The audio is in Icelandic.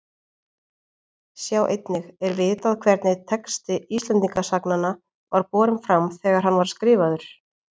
Sjá einnig Er vitað hvernig texti Íslendingasagnanna var borinn fram þegar hann var skrifaður?